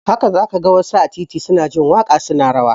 Haka za ka ga wasu a titi su na jin waƙa su na rawa